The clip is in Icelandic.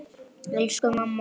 Elsku mamma okkar.